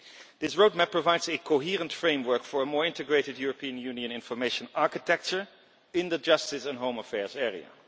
This roadmap provides a coherent framework for a more integrated European Union information architecture in the justice and home affairs area.